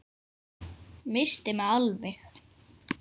Missti mig alveg!